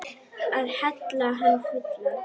Að hella hann fullan.